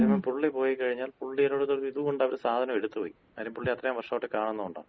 അതേ സമയം പുള്ളി പോയികഴിഞ്ഞാൽ പുള്ളിടടുത്തുള്ള ഒര് ഇത്കൊണ്ട് അവര് സാധനം എടുത്ത് വയ്ക്കും. കാര്യം പുള്ളിയെ അത്രയും വർഷമായിട്ട് കാണുന്നോണ്ടാണ്.